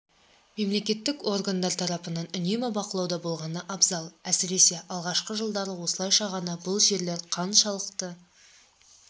мемлекеттік органдар тарапынан үнемі бақылауда болғаны абзал әсіресе алғашқы жылдары осылайша ғана бұл жерлер қаншалықты